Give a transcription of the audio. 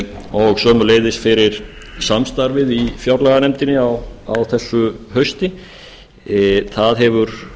og sömuleiðis fyrir samstarfið í fjárlaganefndinni á þessu hausti það hefur